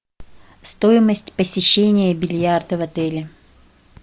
стоимость посещения бильярда в отеле